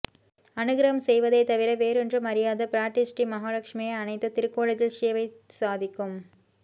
அனுக்ரஹம் செய்வதைத் தவிர வேறொன்றும் அறியாத பிராட்டிஸ்ரீ மஹாலக்ஷ்மியை அணைத்த திருக்கோலத்தில் ஸேவை சாதிக்கும்